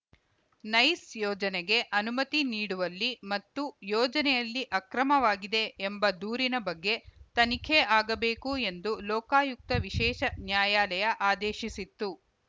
nice ಯೋಜನೆಗೆ ಅನುಮತಿ ನೀಡುವಲ್ಲಿ ಮತ್ತು ಯೋಜನೆಯಲ್ಲಿ ಅಕ್ರಮವಾಗಿದೆ ಎಂಬ ದೂರಿನ ಬಗ್ಗೆ ತನಿಖೆ ಆಗಬೇಕು ಎಂದು ಲೋಕಾಯುಕ್ತ ವಿಶೇಷ ನ್ಯಾಯಾಲಯ ಆದೇಶಿಸಿತ್ತು